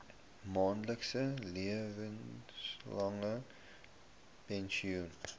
maandelikse lewenslange pensioen